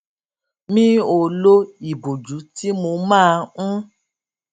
mi ò lo ìbòjú tí mo máa ń